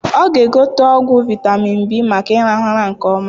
Ọ ga egote ọgwụ vitamin B maka irahu ụra nke ọma